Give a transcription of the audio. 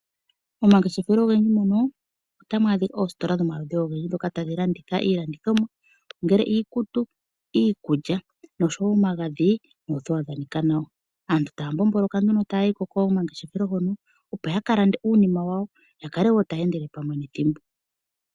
Momangeshefelo ogendji mono otamu adhika oositola dhomaludhi ogendji ndhoka tadhi landitha ongele iikulya, iikutu nosho woo omagadhi noothewa dha nika nawa. Aantu taya mbomboloka nduno taya yiko komangeshefelo hono opo ya ka lande uunima wawo yakale woo taya endele pamwe nethimbo.